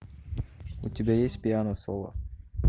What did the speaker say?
у тебя есть пиано соло